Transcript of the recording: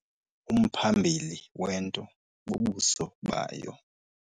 Umphambili wento bubuso bayo.